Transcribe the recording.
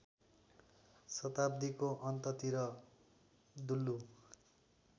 शताब्दीको अन्ततिर दुल्लु